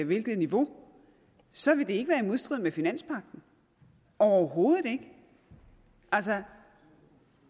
hvilket niveau så vil det ikke være i modstrid med finanspagten overhovedet ikke altså